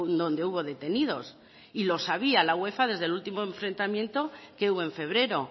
donde hubo detenidos y lo sabía la uefa desde el último enfrentamiento que hubo en febrero